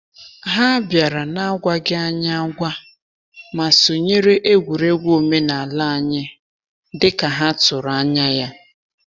Ha bịara n’agwaghị anyị agwa, ma sonyere egwuregwu omenala anyị dị ka ha tụrụ anya ya.